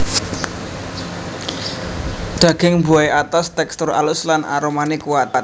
Daging buahé atos tèkstur alus lan aromané kuat